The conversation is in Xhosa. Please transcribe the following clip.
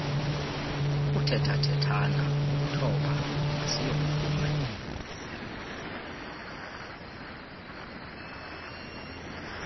ukuthethathethana ukuthoba asiyomvume